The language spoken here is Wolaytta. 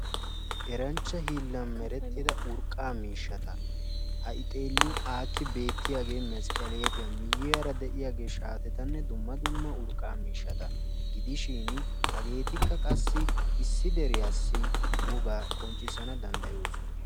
eeranchcha hillanchchatti medhdhido hilla mishshatta haganikka mesqelette, shaatenne dumma dumma urqqa mishatti beettosona hagekka issi biittaa woga qoncissanaw dandayessi.